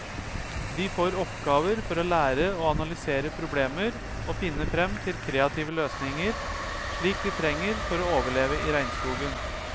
De får oppgaver for å lære å analysere problemer og finne frem til kreative løsninger, slik de trenger for å overleve i regnskogen.